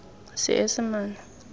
seesimane